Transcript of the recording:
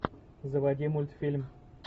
заводи мультфильм